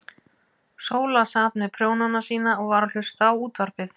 Sóla sat með prjónana sína og var að hlusta á útvarpið.